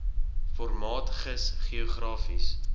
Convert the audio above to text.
formaat gis geografiese